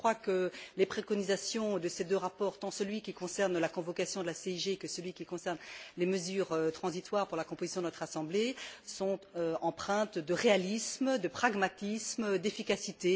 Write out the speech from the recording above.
Je crois que les préconisations de ces deux rapports, tant de celui qui concerne la convocation de la CIG que de celui qui concerne les mesures transitoires pour la composition de notre Assemblée, sont empreintes de réalisme, de pragmatisme et d'efficacité.